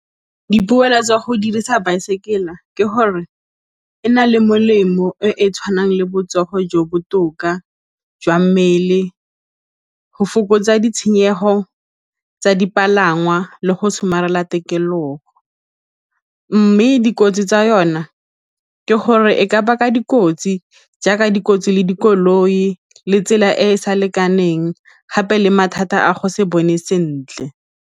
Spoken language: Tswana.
Dipoelo tsa go dirisa baesekele ke gore e na le molemo e e tshwanang le botsogo jo bo botoka jwa mmele, go fokotsa ditshenyegelo tsa dipalangwa le go somarela tikologo mme dikotsi tsa yona ke gore e ka baka dikotsi jaaka dikotsi le dikoloi le tsela e e sa lekaneng gape le mathata a go se bone sentle.